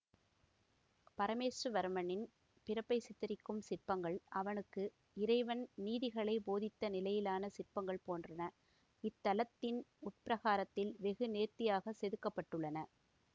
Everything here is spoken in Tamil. பரமேசுவரவர்மனின் பிறப்பைச் சித்தரிக்கும் சிற்பங்கள் அவனுக்கு இறைவன் நீதிகளைப் போதித்த நிலையிலான சிற்பங்கள் போன்றன இத்தலத்தின் உட்பிரகாரத்தில் வெகு நேர்த்தியாகச் செதுக்க பட்டுள்ளன